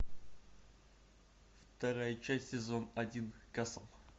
вторая часть сезон один касл